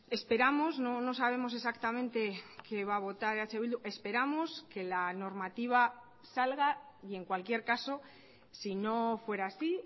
esperamos no sabemos exactamente qué va a votar eh bildu esperamos que la normativa salga y en cualquier caso si no fuera así